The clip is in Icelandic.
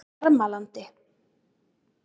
Bjarmalandi